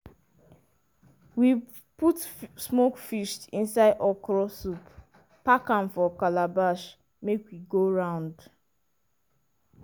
we put smoked fish inside okra soup pack am for calabash make e go round.